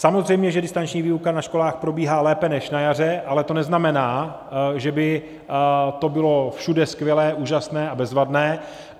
Samozřejmě že distanční výuka na školách probíhá lépe než na jaře, ale to neznamená, že by to bylo všude skvělé, úžasné a bezvadné.